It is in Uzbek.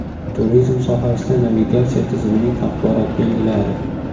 Turizm sohasida navigatsiya tizimining axborot belgilari.